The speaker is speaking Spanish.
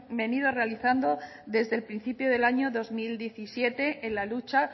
venido realizando desde el principio del año dos mil diecisiete en la lucha